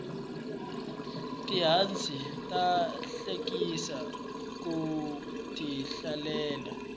tihanci ta hlekisa ku ti hlalela